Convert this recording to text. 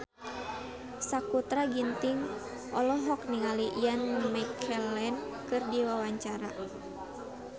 Sakutra Ginting olohok ningali Ian McKellen keur diwawancara